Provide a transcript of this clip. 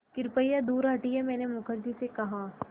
कृपया दूर हटिये मैंने मुखर्जी से कहा